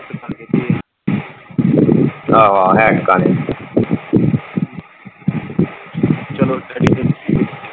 ਆਹੋ ਆਹੋ ਹੈ ਟਿਕਾਣੇ, ਚਲੋ .